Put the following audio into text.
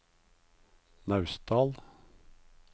Naustdal